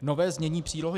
Nové znění přílohy